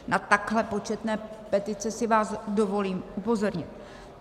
Na takhle početné petice si vás dovolím upozornit.